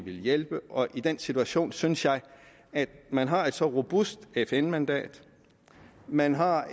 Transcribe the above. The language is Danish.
hjælpe og i den situation synes jeg at man har et så robust fn mandat og man har